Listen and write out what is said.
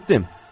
Eşitdim.